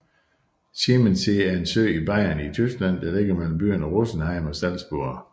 Chiemsee er en sø i Bayern i Tyskland der ligger mellem byerne Rosenheim og Salzburg